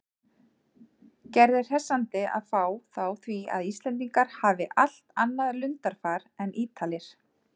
Gerði hressandi að fá þá því að Íslendingar hafi allt annað lundarfar en Ítalir.